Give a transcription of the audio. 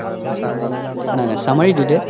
নাই নাই summary দিদে